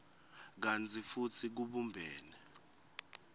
kantsi futsi kubumbene